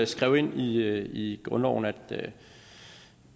skrev ind i i grundloven at